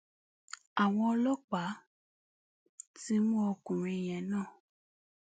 àwọn ọlọpàá ti mú ọkùnrin yẹn náà